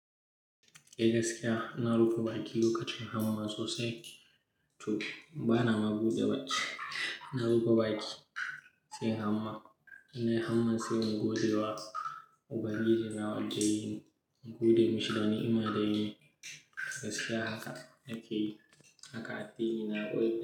Eh gaskiya na rufe baki lokacin hamma sosai. To bana mabude baki, na rufe baki sai hamma. Nan hamma sai na gode wa ubangiji da yayi, na gode masa danima da yayi gaskiya haka yake yi. Haka a tsoro ina goyi.